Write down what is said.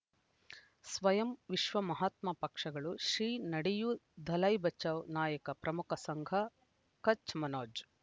ಸ್ವಯಂ ವಿಶ್ವ ಮಹಾತ್ಮ ಪಕ್ಷಗಳು ಶ್ರೀ ನಡೆಯೂ ದಲೈ ಬಚೌ ನಾಯಕ ಪ್ರಮುಖ ಸಂಘ ಕಚ್ ಮನೋಜ್